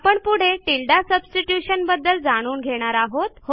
आपण पुढे tilde substitution बद्दल जाणून घेणार आहोत